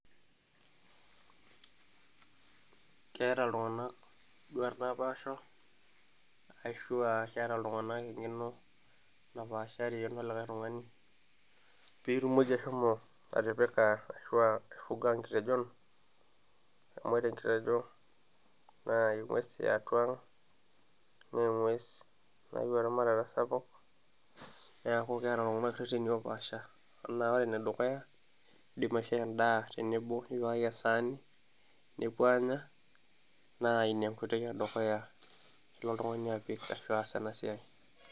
keeta iltung'anak induat naapasha ashu aa keeta iltung'anak eng'eno napaashari tenolikae tung'ani piitumoki ashomo atipika ashua aifuga nkitejon amu ore enkitejo naa eng'ues e atua ang naa eng'ues nayieu eramatata sapuk neeku keeta iltung'anak irreteni oopaasha anaa ore ene dukuya indim aishoo endaa tenebo nipikaki e saani nepuo aanya naa ina enkoitoi e dukuya nilo oltung'ani apik ashu aas ena siai.